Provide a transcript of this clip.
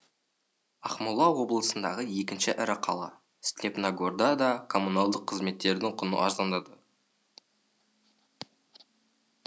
ақмола облысындағы екінші ірі қала степногорда да коммуналдық қызметтердің құны арзандады